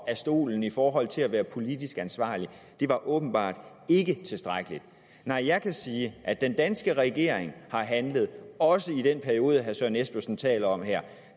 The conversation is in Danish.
af stolen i forhold til at være politisk ansvarlig det var åbenbart ikke tilstrækkeligt nej jeg kan sige at den danske regering har handlet også i den periode herre søren espersen taler om her